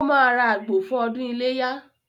Ó máa ra àgbò fún “ ọdún iléyá ”.